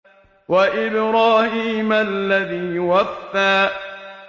وَإِبْرَاهِيمَ الَّذِي وَفَّىٰ